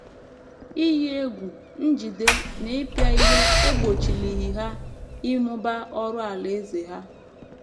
Iyi egwu, njide, na ịpịa ihe egbochilighị ha ịmụba ọrụ Alaeze ha.